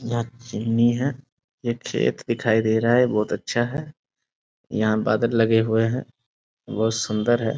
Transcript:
हीया चीमनी हेय एक खेत दिखाई दे रहा है बहुत अच्छा है यहां बादल लगे हुए है बहुत सुंदर है।